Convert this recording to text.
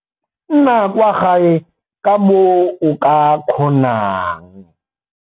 Nna kwa gae ka moo o ka kgonang.